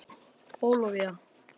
Bólivía